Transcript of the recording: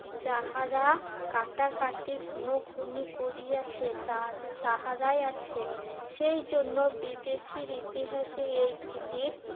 যাহারা কাটাকাটি খুনোখুনি করিয়াছে তার~ তাহারাই আছে। সেই জন্য বিদেশির ইতিহাসে এই ধরণের